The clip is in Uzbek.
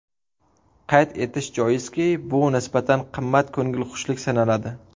Qayd etish joiz, bu nisbatan qimmat ko‘ngilxushlik sanaladi.